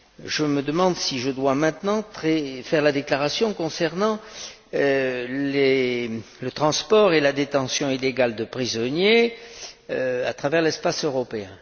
Je me demande si je dois maintenant faire la déclaration concernant le transport et la détention illégale de prisonniers à travers l'espace européen.